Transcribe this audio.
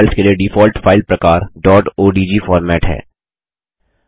draw files के लिए default file प्रकार डॉट ओडीजी फॉर्मेट ओडीजी है